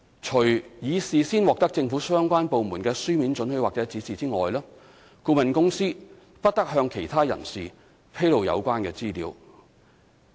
除已事先獲得政府相關部門的書面准許或指示外，顧問公司不得向其他人士披露有關資料。